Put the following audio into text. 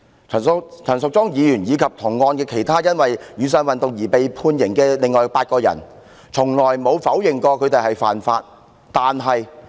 可是，陳淑莊議員及同案其他被判刑的另外8人，從來沒有否認曾犯法。